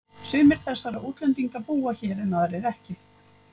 Við eigum í milum vandræðum Herra Toshizo, Penélope er horfin.